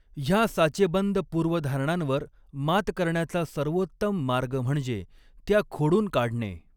ह्या साचेबंद पूर्वधारणांवर मात करण्याचा सर्वोत्तम मार्ग म्हणजे त्या खोडून काढणे.